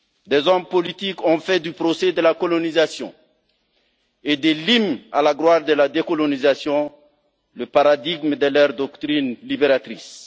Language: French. Des hommes politiques ont fait du procès de la colonisation et de l'hymne à la gloire de la décolonisation le paradigme de leurs doctrines libératrices.